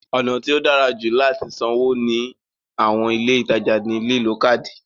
Ọ̀nà tí ó dára jù láti sanwó ní àwọn ilé ìtajà ní lílo káádì.